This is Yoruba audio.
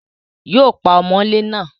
Yóò pa ọmọlé náà